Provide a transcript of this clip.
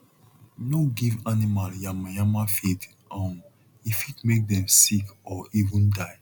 no give animal yamayama feed um e fit make dem sick or even die